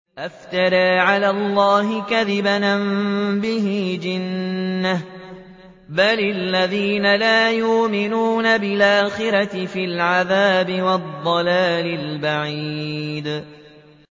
أَفْتَرَىٰ عَلَى اللَّهِ كَذِبًا أَم بِهِ جِنَّةٌ ۗ بَلِ الَّذِينَ لَا يُؤْمِنُونَ بِالْآخِرَةِ فِي الْعَذَابِ وَالضَّلَالِ الْبَعِيدِ